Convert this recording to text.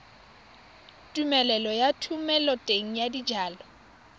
tumelelo ya thomeloteng ya dijalo